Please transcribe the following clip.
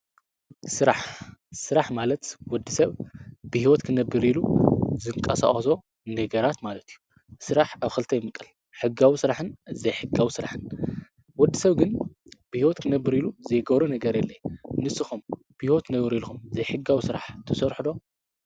ስራሕ-ስራሕ ማለት ወዲ ሰብ ብህይወት ክነብር ኢሉ ዝንቀሳቐሶ ነገራት ማለት እዩ፡፡ ስራሕ ኣብ ክልተ ይምቀል፡፡ ሕጋዊ ስራሕን ዘይሕጋዊ ስራሕን፡፡ ወዲ ሰብ ግን ብህይወት ክነብር ኢሉ ዘይገሮ ነገር የለይ፡፡ ንስኹም ብህይወት ክትነበሩ ኢልኹም ዘይሕጋዊ ስራሕ ትሰርሑ ዶ?